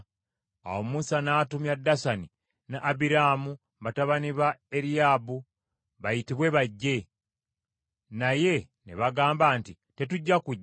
Awo Musa n’atumya Dasani ne Abiraamu batabani ba Eriyaabu bayitibwe bajje. Naye ne bagamba nti, “Tetujja kujja!